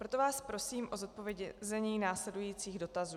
Proto vás prosím o zodpovězení následujících dotazů.